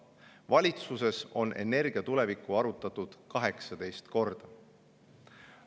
Valitsuses on energia tulevikku arutatud 18 korda.